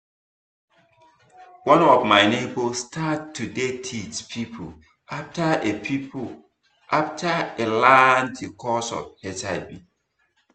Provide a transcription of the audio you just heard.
one of my neighbor start to dey teach people after e people after e learn the cause of hiv